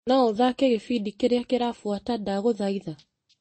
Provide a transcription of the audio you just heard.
No ũthakĩre gĩbindi kĩrĩa kĩrabuata ndagũthaitha ?